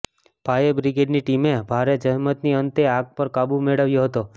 fire બ્રિગેડની ટીમે ભારે જહેમતની અંતે આગ પર કાબુ મેળવ્યો હતો